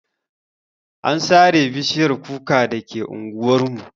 An sare bishiyar kuka dake anguwar mu.